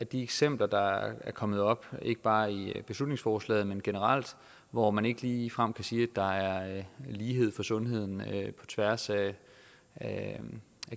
de eksempler der er kommet op ikke bare i beslutningsforslaget men generelt hvor man ikke ligefrem kan sige at der er lighed for sundheden på tværs af af